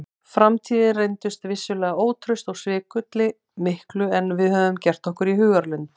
Framtíðin reyndist vissulega ótraust og svikulli miklu en við höfðum gert okkur í hugarlund.